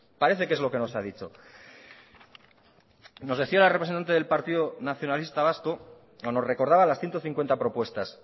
parece que es lo que nos ha dicho nos decía la representante del partido nacionalista vasco o nos recordaba las ciento cincuenta propuestas